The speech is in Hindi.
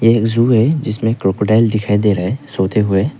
एक जू है जिसमें क्रोकोडाइल दिखाई दे रहा है सोते हुए।